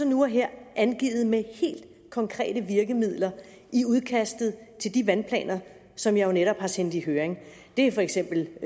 nu og her angivet med helt konkrete virkemidler i udkastet til de vandplaner som jeg jo netop har sendt i høring det er for eksempel